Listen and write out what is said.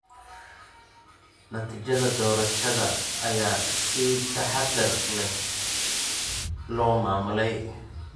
Natiijada doorashada ayaa si taxadar leh loo maamulay.